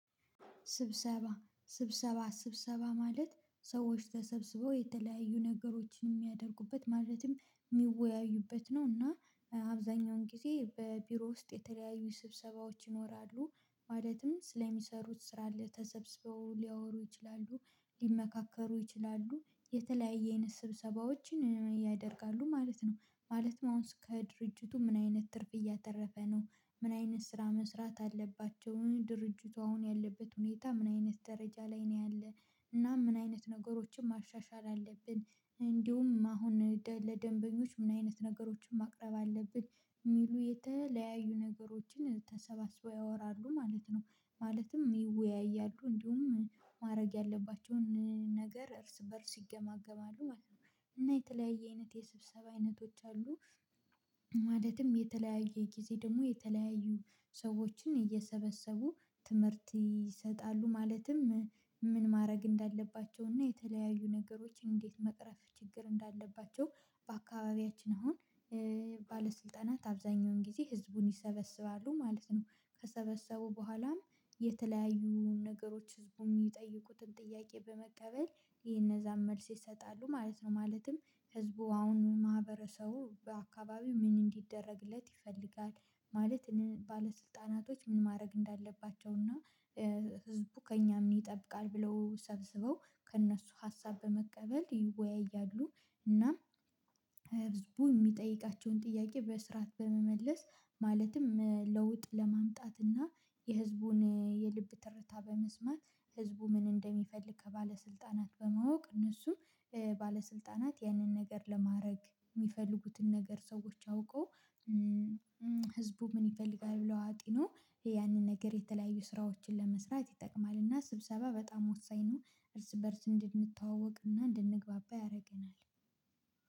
ስብሰባ ስብሰባ ስብሰባ ማለት ሰዎች ተሰብስበው የተለያዩ ነገሮችን የሚያደርጉበት ማለትም የሚወያዩበት ነው እና አብዛኛውን ጊዜ በቢሮ ውስጥ የተለያዩ ስብሰባዎች ይኖራሉ ማለትም ስለሚሰሩት ስራ ለተሰብስበው ሊያወሩ ይችላሉ ሊመካከሩ ይችላሉ የተለያየ አይነት ስብሰባዎችን ያደርጋሉ ማለት ነው። ማለት ከድርጅቱ ምን አይነት ትርፍ እያተረፈ ነው ምን አይነት ስራ መስራት አለባቸው ድርጅቱ አሁን ያለበት ሁኔታ ምን አይነት ደረጃ ላይ ነው ያለው? እና ምን አይነት ነገሮችን ማሻሻል አለብን እንዲሁም አሁን ለደንበኞች ምን አይነት ነገሮችን ማቅረብ አለብን የሚሉ የተለያዩ ነገሮችን ተሰባስበው ያወራሉ ማለት ነው። ማለትም ይወያያሉ እንዲሁም ማድረግ ያለባቸውን ነገር እርስ በእርስ ይገማገማሉ ማለት ነው። እና የተለያየ አይነት የስብሰባ አይነቶች አሉ። ማለትም የተለያየ ጊዜ ደግሞ የተለያዩ ሰዎችን እየሰበሰቡ ትምህርት ይሰጣሉ ማለትም ምን ማድረግ እንዳለባቸው እና የተለያዩ ነገሮችን እንዴት መቅረፍ ችግር እንዳለባቸው። በአካባቢያችን አሁን ባለስልጠናት አብዛኛውን ጊዜ ህዝቡን ይሰበስባሉ ማለት ነው ከሰበሰቡ በኋላም የተለያዩ ነገሮች ህዝቡ የሚጠይቁትን ጥያቄ በመቀበል የነዛን መልስ ይሰጣሉ ማለት ነው። ማለትም ህዝቡ አሁን ማህበረሰቡ በአካባቢው ምን እንዲደረግለት ይፈልጋል? ማለት ባለስልጣናቶች ምን ማድረግ እንዳለባቸው እና ህዝቡ ከእኛ ምን ይጠብቃል ብለው ሰብስበው ከእነሱ ሀሳብ በመቀበል ይወያያሉ። እና ህዝቡ የሚጠይቃቸውን ጥያቄ በስርዓት በመመለስ ማለትም ለውጥ ለማምጣት እና የህዝቡን የልብ ትርታ በመስማት ህዝቡ ምን እንደሚፈልግ ከባለስልጣናት በማወቅ እነሱ ባለስልጣናት ያንን ነገር ለማድረግ የሚፈልጉትን ነገር ሰዎች አውቆ ህዝቡ ምን ይፈልጋል? ብለው አጢኖ ያንን ነገር የተለያዩ ስራዎችን ለመስራት ይጠቅማል እና ስብሰባ በጣም ወሳኝ ነው። እርስ በእርስ እንድንተዋወቅ እና እንድንግባባ ያደርገናል።